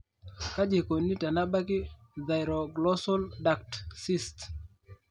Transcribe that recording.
kaji eikoni tenebaki thyroglossal duct cyst ?